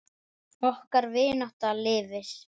Okkar vinátta lifir.